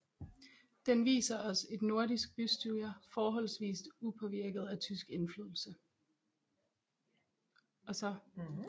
Den viser os et nordisk bystyre forholdsvist upåvirket af tysk indflydelse